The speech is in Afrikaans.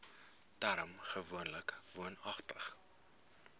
term gewoonlik woonagtig